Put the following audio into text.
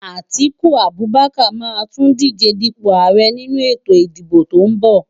Atiku Abubakar máa tún díje dípò ààrẹ nínú ètò ìdìbò tó ń bọ̀.